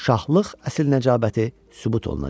şahlıq əsl nəcabəti sübut olunacaq.